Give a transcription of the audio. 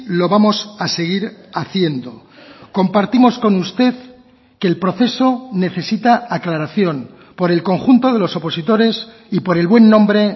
lo vamos a seguir haciendo compartimos con usted que el proceso necesita aclaración por el conjunto de los opositores y por el buen nombre